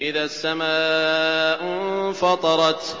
إِذَا السَّمَاءُ انفَطَرَتْ